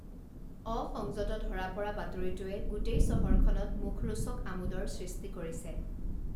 অসংযত ধৰা পৰা বাতৰিটোৱে গোটেই চহৰখনত মুখৰোচক আমোদৰ সৃষ্টি কৰিছে